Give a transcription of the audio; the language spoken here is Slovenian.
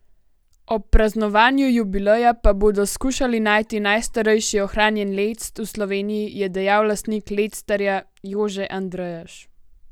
Ob praznovanju jubileja pa bodo skušali najti najstarejši ohranjen lect v Sloveniji, je dejal lastnik Lectarja Jože Andrejaš.